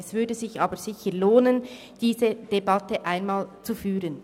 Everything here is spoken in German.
Es würde sich aber sicher lohnen, diese Debatte einmal zu führen.